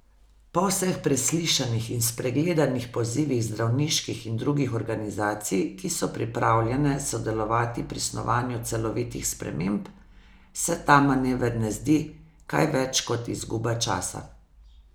Po vseh preslišanih in spregledanih pozivih zdravniških in drugih organizacij, ki so pripravljene sodelovati pri snovanju celovitih sprememb, se ta manever ne zdi kaj več kot izguba časa.